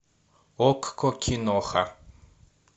окко киноха